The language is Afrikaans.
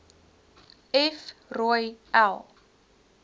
f rooi l